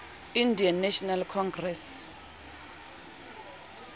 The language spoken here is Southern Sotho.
indian national congress